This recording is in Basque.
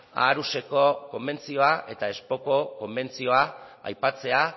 aarhuseko konbentzioa eta konbentzioa aipatzea